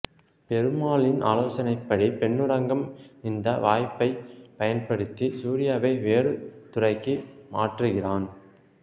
பெருமாளின் ஆலோசனைப்படி பொன்னுரங்கம் இந்த வாய்ப்பைப் பயன்படுத்தி சூரியாவை வேறு துறைக்கு மாற்றுகிறான்